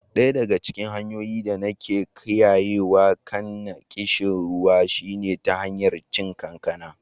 Daya daga cikin hanyoyin da nake kiyayewa kaina kishin ruwa shine ta hanyar cin kankana.